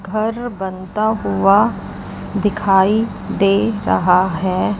घर बनता हुआ दिखाई दे रहा है।